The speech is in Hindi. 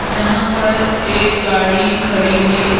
जहां पर एक गाड़ी खड़ी है।